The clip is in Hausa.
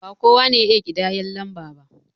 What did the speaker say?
Ba kowa ne ya iya ƙidayan lamba ba